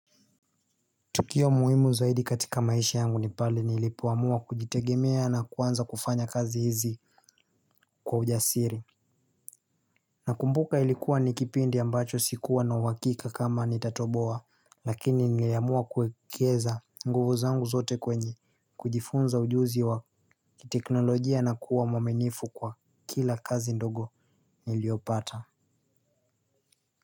Tukio muhimu zaidi katika maisha yangu ni pale nilipoamua kujitegemea na kuanza kufanya kazi hizi kwa ujasiri. Nakumbuka ilikuwa ni kipindi ambacho sikuwa na uhakika kama nitatoboa lakini niliamua kuekeza nguvu zangu zote kwenye kujifunza ujuzi wa kiteknolojia na kuwa mwaminifu kwa kila kazi ndogo niliopata.